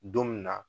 Don min na